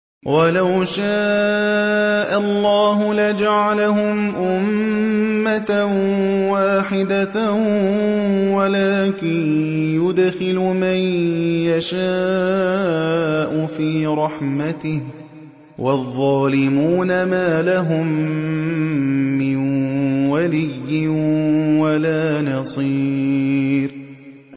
وَلَوْ شَاءَ اللَّهُ لَجَعَلَهُمْ أُمَّةً وَاحِدَةً وَلَٰكِن يُدْخِلُ مَن يَشَاءُ فِي رَحْمَتِهِ ۚ وَالظَّالِمُونَ مَا لَهُم مِّن وَلِيٍّ وَلَا نَصِيرٍ